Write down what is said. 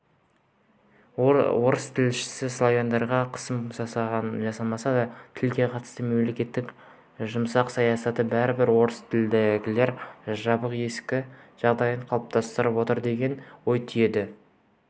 орыс тілшісі славяндарға қысым жасалмаса да тілге қатысты мемлекеттің жұмсақ саясаты бәрібір орыстілділерге жабық есік жағдайын қалыптастырып отыр деген ой түйеді